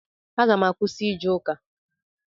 Aga m akwụsị ije ụka.